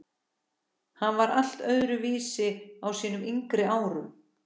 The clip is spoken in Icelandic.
Hann var allt öðru vísi á sínum yngri árum.